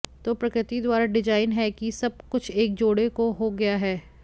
तो प्रकृति द्वारा डिजाइन है कि सब कुछ एक जोड़े को हो गया है